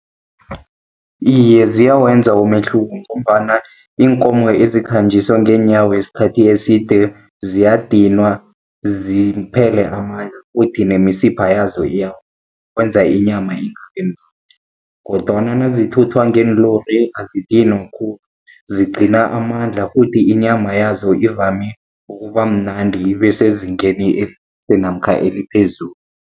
Iye, ziyawenza umehluko, ngombana iinkomo ezikhanjiswa ngeenyawo isikhathi eside ziyadinwa, ziphele amandla futhi nemisipha yazo kwenza inyama . Kodwana nazithuthwa ngeenlori azidinwa khulu, zigcina amandla futhi inyama yazo ivame ukuba mnandi, ibe sezingeni namkha eliphezulu.